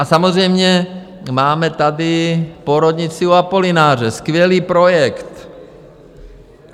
A samozřejmě máme tady porodnici u Apolináře, skvělý projekt.